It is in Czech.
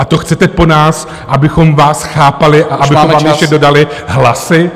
A to chcete po nás, abychom vás chápali a abychom vám ještě dodali hlasy.